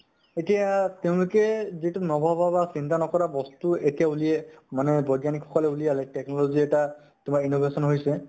এতিয়া তেওঁলোকে যিটো নভবা বা বা চিন্তা নকৰা বস্তু এতিয়া উলিয়াই মানে বৈজ্ঞানীক সকলে উলিয়ালে technology এটা innovation হৈছে